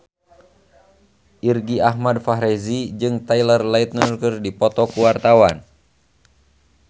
Irgi Ahmad Fahrezi jeung Taylor Lautner keur dipoto ku wartawan